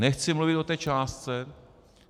Nechci mluvit o té částce.